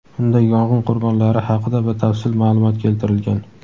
Unda yong‘in qurbonlari haqida batafsil ma’lumot keltirilgan.